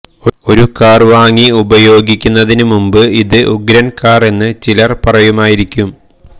ഒരു കാർ വാങ്ങി ഉപയോഗിക്കുന്നതിന് മുമ്പ് ഇത് ഉഗ്രൻ കാർ എന്ന് ചിലർ പാരയുമായിരിക്കും